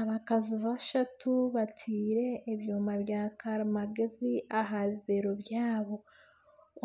Abakazi bashatu bateire ebyoma bya karimagyezi aha bibero byabo.